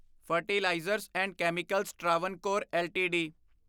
fertilizers and chemicals Travancore LTD